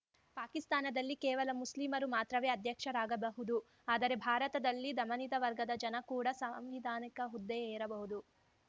ಪಾಕಿಸ್ತಾನದಲ್ಲಿ ಕೇವಲ ಮುಸ್ಲಿಮರು ಮಾತ್ರವೇ ಅಧ್ಯಕ್ಷರಾಗಬಹುದು ಆದರೆ ಭಾರತದಲ್ಲಿ ದಮನಿತ ವರ್ಗದ ಜನ ಕೂಡಾ ಸಾಂವಿಧಾನಿಕ ಹುದ್ದೆ ಏರಬಹುದು